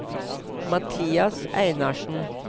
Mathias Einarsen